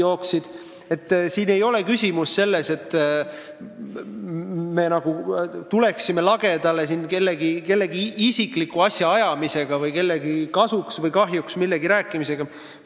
Küsimus ei ole selles, et me nagu tuleme lagedale kellegi isikliku asjaga või kellegi kasuks või kahjuks millegi rääkimisega.